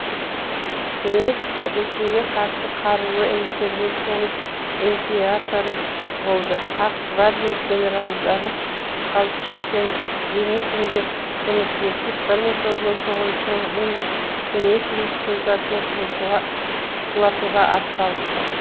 кеңес ресейге қарсы қарулы интервенцияның инциаторы болды ақ гвардия генералдары колчак пен деникинге көмектесті мың тоғыз жүз он тоғызыншы жылы венгр кеңес республикасын құлатуға ат салысты